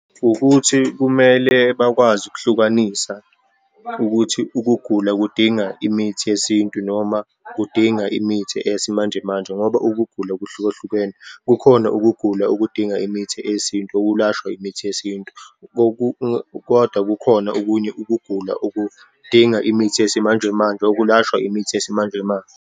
Ukuthi kumele bakwazi ukuhlukanisa ukuthi ukugula kudinga imithi yesintu, noma kudinga imithi eyesimanjemanje, ngoba ukugula kuhlukahlukene. Kukhona ukugula okudinga imithi eyesintu, ukulashwa imithi yesintu, kodwa kukhona okunye ukugula okudinga imithi yesimanjemanje, okulashwa imithi yesimanjemanje.